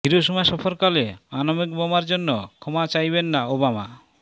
Hiroshima সফরকালে আণবিক বোমার জন্য ক্ষমা চাইবেন না ওবামা